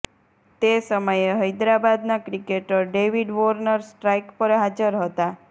તે સમયે હૈદરાબાદનાં ક્રિકેટર ડેવિડ વોર્નર સ્ટ્રાઇક પર હાજર હતાં